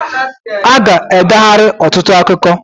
Aga edeghari ọtụtụ akụkọ